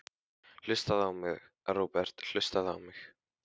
Hlustaðu á mig, Róbert, hlustaðu á mig.